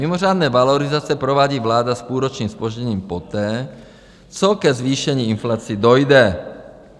Mimořádné valorizace provádí vláda s půlročním zpožděním poté, co ke zvýšení inflace dojde.